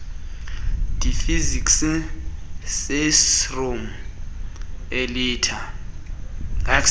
deficiency syndrome elithe